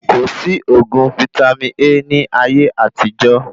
Kòsí oògùn vítámì A ní ayé àtijó